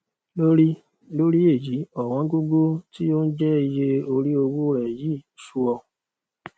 lórí lórí èyí ọwọn gógó tí ó ń jẹ iye orí owó rẹ yìí sú ọ